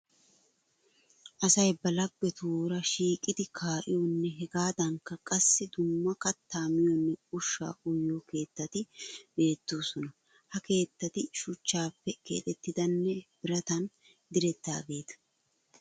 Asay ba laggetuura shiiqidi kaa'iyoonne hegaadankka qassi dumma kattaa miyoonne ushshaa uyiyo keettati beettoosona. Ha keettati shuchchaappe keexettidanne biratan direttidageeta.